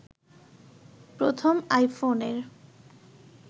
প্রথম আইফোনের